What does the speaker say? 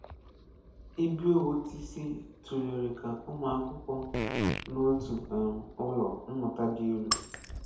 Ibiowotisi tụ̀lèrè ka ụmụ́akwụ́kwọ́ n’ọ́tù um ụlọ mmụ̀tà dị elu